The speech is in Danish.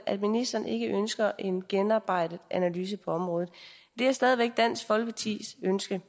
at ministeren ikke ønsker en gennemarbejdet analyse på området det er stadig væk dansk folkepartis ønske